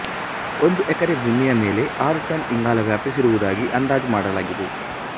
ಒಂದು ಎಕರೆ ಭೂಮಿಯ ಮೇಲೆ ಆರು ಟನ್ ಇಂಗಾಲ ವ್ಯಾಪಿಸಿರುವುದಾಗಿ ಅಂದಾಜು ಮಾಡಲಾಗಿದೆ